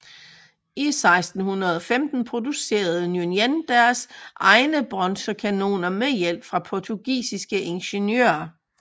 I 1615 producerede Nguyễn deres egne bronzekanoner med hjælp fra portugisiske ingeniører